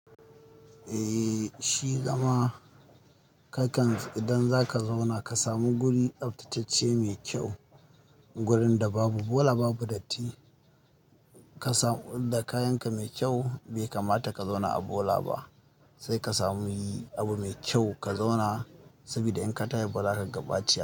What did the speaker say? Eh shi dama kakan, idan zaka zauna ka samu guri tsaftatacce mai kyau, wurin da babu bola, babu datti. Ka samu da kayanka mai kyau bai kamata ka zauna a bola ba. Sai ka sami abu mai kyau ka zauna saboda in ka tashi bazaka ga baci.